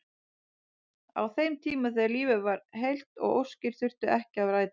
Á þeim tíma þegar lífið var heilt og óskir þurftu ekki að rætast.